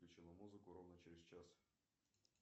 включила музыку ровно через час